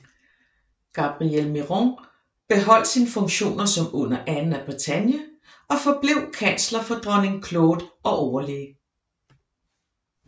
Gabriel Miron beholdt sine funktioner som under Anne af Bretagne og forblev kansler for dronning Claude og overlæge